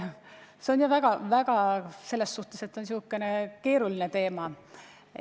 See on jah säärane keeruline teema.